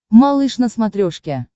малыш на смотрешке